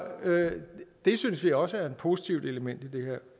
det synes vi også er et positivt element i det